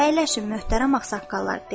"Əyləşin, möhtərəm ağsaqqallar" dedi.